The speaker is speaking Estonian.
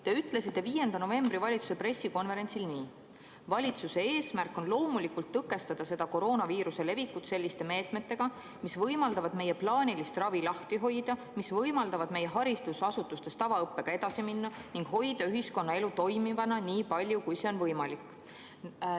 Te ütlesite 5. novembri valitsuse pressikonverentsil nii: "Valitsuse eesmärk on loomulikult tõkestada seda koroonaviiruse levikut selliste meetmetega, mis võimaldavad meie plaanilist ravi lahti hoida, mis võimaldavad meie haridusasutustes tavaõppega edasi minna ning hoida ühiskonnaelu toimivana nii palju, kui see on võimalik.